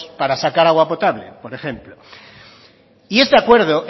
para sacar agua potable por ejemplo y este acuerdo